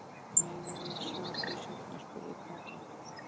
Megum við sjá þau seinna? spurði Kata.